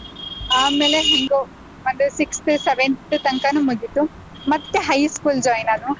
ಆಮೇಲೆ ಹೆಂಗೋ ಅಂದ್ರೆ sixth, seventh ತನ್ಕಾನು ಮುಗೀತು ಮತ್ತೆ high school join ನಾನು.